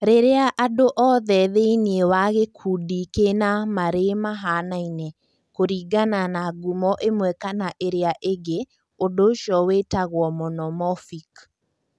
Rĩrĩa andũ othe thĩinĩ wa gĩkundi kĩna marĩ mahanaine kũringana na ngumo ĩmwe kana ĩrĩa ĩngĩ, ũndũ ũcio wĩtagwo monomorphic.